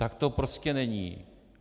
Tak to prostě není.